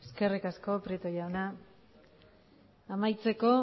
eskerrik asko prieto jauna amaitzeko